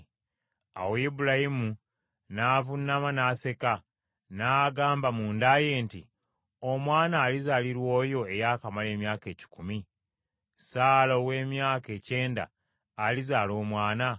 Awo Ibulayimu n’avuunama n’aseka, n’agamba munda ye nti, “Omwana alizaalirwa oyo eyaakamala emyaka ekikumi? Saala ow’emyaka ekyenda alizaala omwana?”